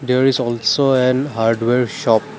there is also an hardware shop.